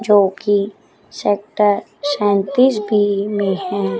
जोकि सेक्टर सैंतीस बी में है।